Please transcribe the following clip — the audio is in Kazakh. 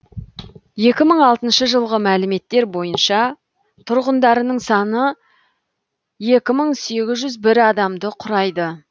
екі мың алтыншы жылғы мәліметтер бойынша тұрғындарының саны екі мың сегіз жүз бір адамды құрайды